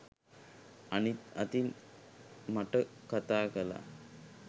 අනිත් අතින් මට කතා කාලා